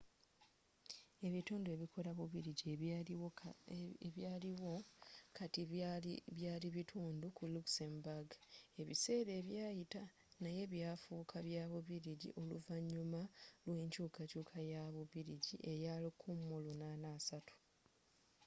ebitundu ebikola bubiligi ebiliwo kati byaali bitundu ku luxembourg ebiseera ebyayita naye byafuuka bya bubiligi oluvanyuma lw'ekyukakyuuka ya bubiligi eya 1830